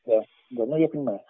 да да ну я понимаю